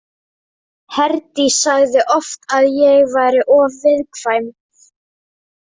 Herdís sagði oft að ég væri of viðkvæm.